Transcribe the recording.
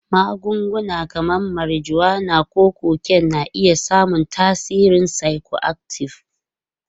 Magunguna kamar marijuana ko cocaine na iya samun tasirin psychoactive.